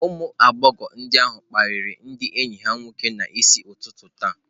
Ụmụ agbọghọ ndị ahụ kparịrị ndị enyi ha nwoke n'isi ụtụtụ taa.